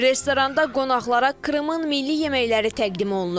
Restoranda qonaqlara Krımın milli yeməkləri təqdim olunur.